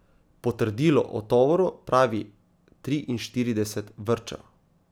Potrdilo o tovoru pravi triinštirideset vrčev.